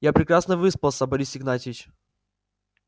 я прекрасно выспался борис игнатьевич